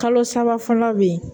Kalo saba fɔlɔ bɛ yen